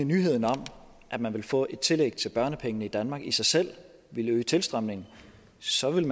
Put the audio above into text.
nyheden om at man vil få et tillæg til børnepengene i danmark i sig selv ville øge tilstrømningen så ville